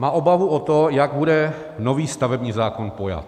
Má obavu o to, jak bude nový stavební zákon pojat.